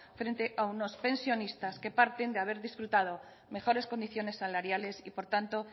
frente a unos pensionistas que parten de haber disfrutado mejores condiciones salariales y por tanto